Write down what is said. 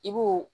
I b'o